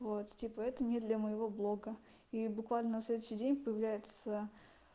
вот типа это не для моего блога и буквально на следующий день появляется